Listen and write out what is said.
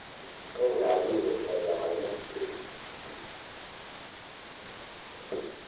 Nĩngathiĩ gũcerera Maina cukuru.